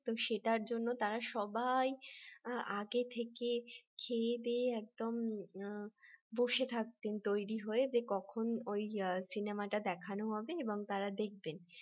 তো সেটার জন্য তারা সবাই আগে থেকে খেয়েদেয়ে একদম বসে থাকতেন তৈরি হয়ে যে কখন ওই সিনেমাটা দেখানো হবে এবং তারা দেখবেন